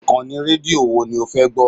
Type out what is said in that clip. Ìkànnì rédíò wo ni o fẹ́ gbọ́?